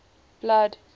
blood